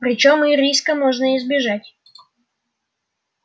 причём и риска можно избежать